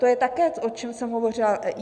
To je také, o čem jsem hovořila.